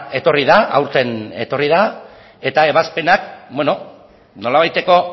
etorri da aurten etorri da eta ebazpenak nolabaiteko